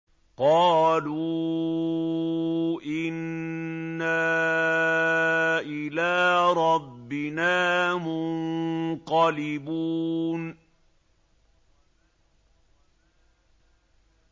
قَالُوا إِنَّا إِلَىٰ رَبِّنَا مُنقَلِبُونَ